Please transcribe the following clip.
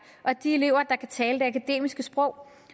og de elever der kan tale det akademiske sprog